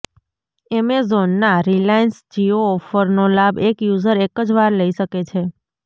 એમેઝોનના રિલાયન્સ જિયો ઓફરનો લાભ એક યુઝર એક જ વાર લઈ શકે છે